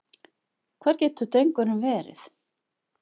Hvar getur drengurinn verið?